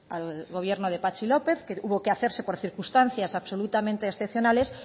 al gobierno de patxi lópez que hubo que hacerse por circunstancias absolutamente excepcionales